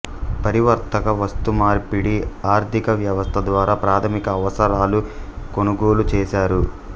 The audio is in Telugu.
పరివర్తక వస్తుమార్పిడి ఆర్థికవ్యవస్థ ద్వారా ప్రాథమిక అవసరాలు కొనుగోలు చేశారు